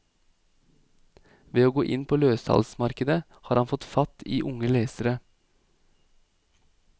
Ved å gå inn på løssalgsmarkedet har han fått fatt i unge lesere.